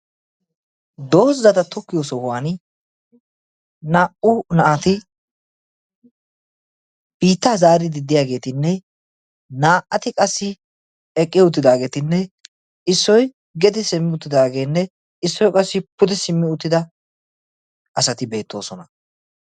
Doozzata tokkiyoo sohuwaani naa"u naati biittaa zaaridi de'iyaagetinne naa"ati qassi eqqi uttidaagetinne issoy gede simmi uttidaagee issoy qassi ude simmi uttida asati beettoosona.